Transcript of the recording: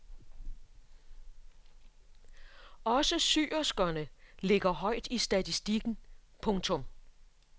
Også syerskerne ligger højt i statistikken. punktum